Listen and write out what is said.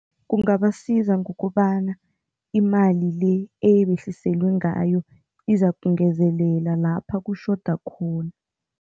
Kungabasiza ngokobana imali le eyibehliselwe ngayo izakungezelela lapha kutjhoda khona.